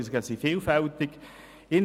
Die Verzögerungen sind vielfältiger Natur.